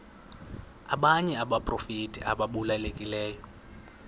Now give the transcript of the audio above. abanye abaprofeti ababalulekileyo